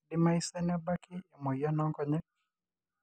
keidimayu saa nebaki emoyian oonkonyek